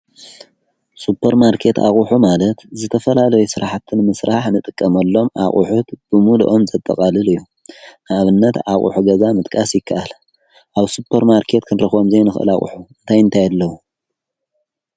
ሱጰር ማርከት ኣቑሑ ማለት ዝተፈላለይ ሥራሕትን ምሥራሕ ንጥቀመሎም ኣቝሑት ብሙልኦም ዘጠቓልል እዩ ንኣብነት ኣቝሑ ገዛ ምጥቃስ ይከኣለ ኣብ ሱጰር ማርከት ክንርኾምዘይ ንኽእላቕሑ እንታይ ንታየለዉ